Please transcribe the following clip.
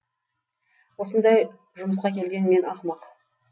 осындай жұмысқа келген мен ақымақ